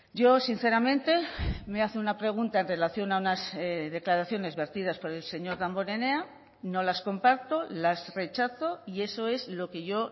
yo sinceramente me hace una pregunta en relación a unas declaraciones vertidas por el señor damborenea no las comparto las rechazo y eso es lo que yo